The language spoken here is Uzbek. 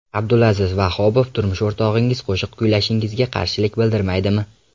Abdulaziz Vohobov Turmush o‘rtog‘ingiz qo‘shiq kuylashingizga qarshilik bildirmaydimi?